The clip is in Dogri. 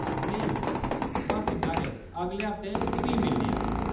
नेईं, बस्स इन्ना गै, अगले हफ्तै फ्ही मिलने आं।